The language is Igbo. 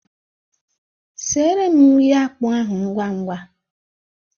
Sere m nri akpụ ahụ ngwangwa!